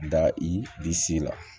Da i disi la